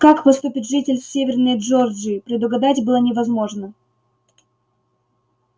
как поступит житель северной джорджии предугадать было невозможно